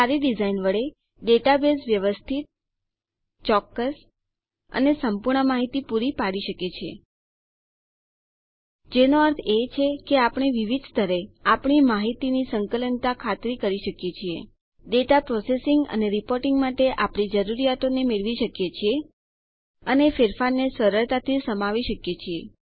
સારી ડીઝાઇન વડે ડેટાબેઝ વ્યવસ્થિત ચોક્કસ અને સંપૂર્ણ માહિતી પૂરી પાડી શકે છે જેનો અર્થ એ છે કે આપણે વિવિધ સ્તરે આપણી માહિતીની સંકલનતાની ખાતરી કરી શકીએ છીએ ડેટા પ્રોસેસિંગ માહિતી પર પ્રક્રિયા કરવી કે વપરાશમાં લેવી અને રીપોર્ટીંગ માટે આપણી જરૂરિયાતોને મેળવી શકીએ છીએ અને ફેરફારને સરળતાથી સમાવી શકીએ છીએ